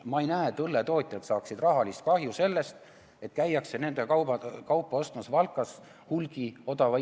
Ma ei näe, et õlletootjad saaksid rahalist kahju sellest, et käiakse nende kaupa Valkas odava hinnaga hulgi ostmas.